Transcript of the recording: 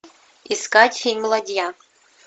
искать фильм ладья